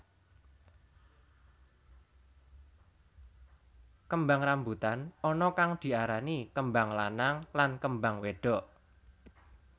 Kembang rambutan ana kang diarani kembang lanang lan kembang wédok